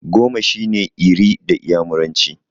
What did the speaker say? Goma shine 'Iri' da iyamuranci.